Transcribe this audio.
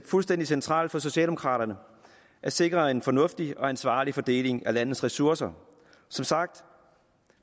fuldstændig centralt for socialdemokraterne at sikre en fornuftig og ansvarlig fordeling af landets ressourcer som sagt